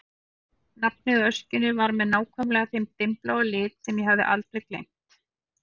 Nafnið á öskjunni var með nákvæmlega þeim dimmbláa lit sem ég hafði aldrei gleymt.